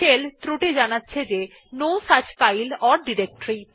shell ত্রুটি জানাচ্ছে যে no such file or directory